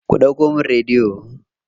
Ku ɗauko min rediyo.